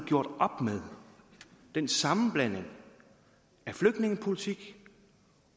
gjort op med den sammenblanding af flygtningepolitik